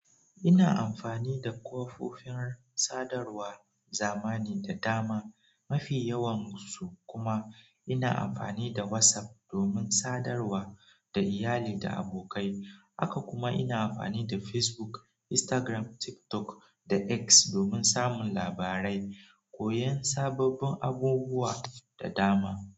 Ina amfani da kofofin sadarwa zamani da dama, mafi yawan su kuma ina amfani da WhatsApp domin sadarwa da iyali da abokai. Haka kuma ina amfani da Facebook, Instagram, TikTok da X domin samun labarai, koyon sababbin abubuwa da dama.